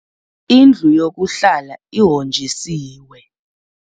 Indlu yokuhlala ihonjisiwe.